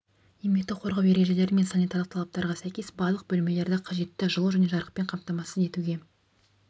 еңбекті қорғау ережелері мен санитарлық талаптарға сәйкес барлық бөлмелерді қажетті жылу және жарықпен қамтамасыз етуге